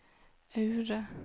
Aure